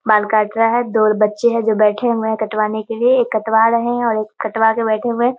बाल काट रहा है। दो बच्चे हैं जो बैठे हुए हैं कटवाने के लिए। एक कटवा रहें हैं और एक कटवाने के लिए बैठे हुए हैं।